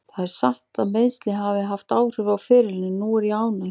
Það er satt að meiðsli hafa haft áhrif á ferilinn en núna er ég ánægður.